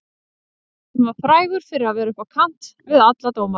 Hann var frægur fyrir að vera upp á kant við alla dómara.